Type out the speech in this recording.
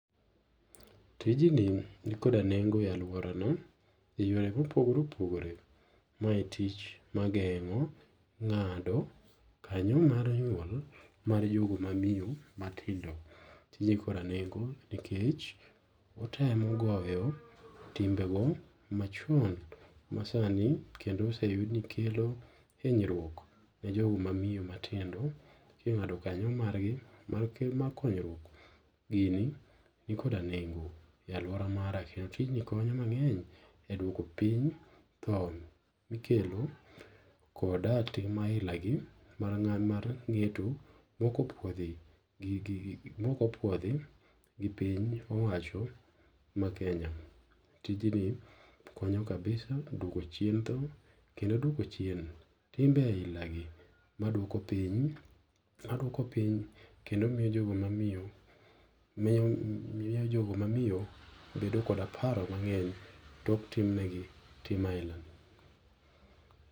Tijni nikoda nengo e aluorano e yore ma opogore opogore. Mae tich magengo' nga'do kanyo mar nyuol mar jogo ma miyo matindo. Tijni nikoda nengo' nikech otemo goyo timbego macho masani kendo oseyudni kelo hinyruok ne jogo ma miyo matindo kinga'do kanyo margi markonyruok gini nikoda nengo e aluora mar rahiya, tijni konyo mange'ny e duoko piny mikelo kod tim ahilagi mar nge'to mokopuodhi gi gi mokopuodhi gi piny owacho ma Kenya tijni konyo kabisa duoko chien tho kendo duoko chien timbe ailagi maduoko piny maduoko piny kendo miyo jogo ma miyo miyo jogo ma miyo bedo koda paro mange'ny tok timnegi tim ailani